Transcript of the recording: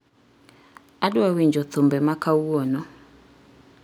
adwa winjo thumbe ma kawuono